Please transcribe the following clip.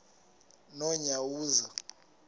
nonyawoza